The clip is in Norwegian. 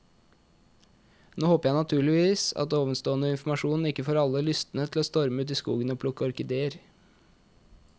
Nå håper jeg naturligvis at ovenstående informasjon ikke får alle lystne til å storme ut i skogen og plukke orkideer.